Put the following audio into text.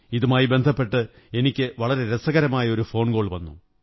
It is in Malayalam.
ഇതുമായി ബന്ധപ്പെട്ട് എനിക്ക് വളരെ രസകരമായ ഒരു ഫോണ്കോകൾ വന്നു